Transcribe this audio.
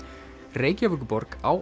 Reykjavíkurborg á